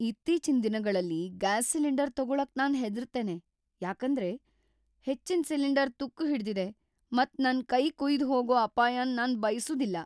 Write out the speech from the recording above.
ಇತ್ತೀಚಿನ್ ದಿನಗಳಲ್ಲಿ gas cylinder ತಗೋಳಕ್ ನಾನ್ ಹೆದರ್ತ್ತೇನೆ ಯಾಕಂದ್ರೆ ಹೆಚ್ಚಿನ್ ಸಿಲಿಂಡರ್ ತುಕ್ಕು ಹಿಡ್ದಿದೆ ಮತ್ ನನ್ ಕೈ ಕುಯ್ದು ಹೋಗೋ ಅಪಾಯನ್ ನಾನ್ ಬಯ್ಸುದಿಲ್ಲ.